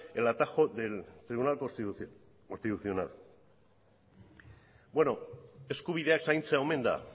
el atajo del tribunal constitucional beno eskubideak zaintzea omen da